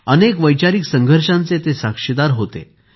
अनेक वैचारिक संघर्षांचे ते साक्षीदार होते